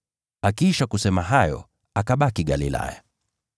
Akiisha kusema hayo, akabaki Galilaya.